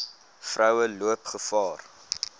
vroue loop gevaar